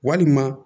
Walima